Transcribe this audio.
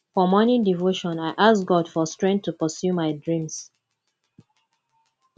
for morning devotion i ask god for strength to pursue my dreams